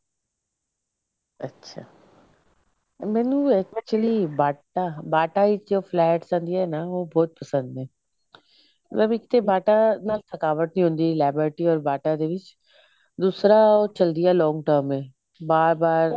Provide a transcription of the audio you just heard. ਅੱਛਾ ਮੈਨੂੰ ਵੀ actually BATA bata ਵਿੱਚ flats ਆਂਦਿਆ ਨਾ ਉਹ ਬਹੁਤ ਪਸੰਦ ਐ mam ਇੱਕ ਤੇ BATA ਨਾਲ ਥਕਾਵਟ ਨਹੀਂ ਹੁੰਦੀ liberty or BATA ਦੇ ਵਿੱਚ ਦੂਸਰਾ ਉਹ ਚਲਦਿਆਂ long term ਏ ਬਾਰ ਬਾਰ